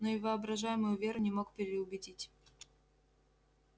но и воображаемую веру не мог переубедить